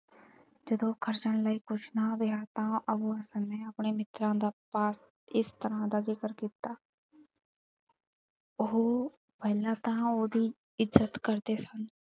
ਜਦੋਂ ਖਰਚਣ ਲਈ ਕਛੁ ਨਾ ਰਿਹਾ ਤਾਂ ਅਭੂ ਹਸਨ ਨੇ ਆਪਣੇ ਮਿੱਤਰਾ ਦਾ ਪਾਸ ਇਸ ਤਰਾਂ ਦਾ ਜ਼ਿਕਰ ਕੀਤਾ ਉਹ ਪਹਿਲਾਂ ਤਾਂ ਉਹਦੀ ਇਜ਼ਤ ਕਰਦੇ ਸਨ।